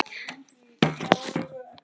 Hvílík list!